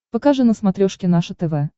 покажи на смотрешке наше тв